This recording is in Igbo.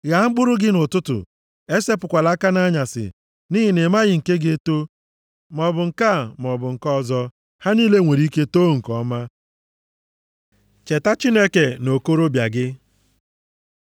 Ghaa mkpụrụ gị nʼụtụtụ, esepụkwala aka nʼanyasị, nʼihi na ị maghị nke ga-eto, maọbụ nke a maọbụ nke ọzọ, ha niile nwere ike too nke ọma. Cheta Chineke nʼokorobịa gị